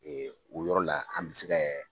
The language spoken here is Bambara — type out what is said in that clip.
Ee o yɔrɔ la an bɛ se ka